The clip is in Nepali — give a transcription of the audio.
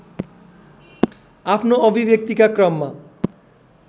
आफ्नो अभिव्यक्तिका क्रममा